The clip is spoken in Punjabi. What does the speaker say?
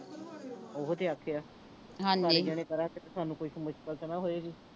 ਓਹੋ ਤੇ ਆਖਿਆ ਸਾਰੇ ਜਣੇ ਕਰਾਂਗੇ ਤੇ ਸਾਨੂੰ ਕੋਈ ਮੁਸ਼ਕਿਲ ਤੇ ਨਾਂ ਹੋਏਗੀ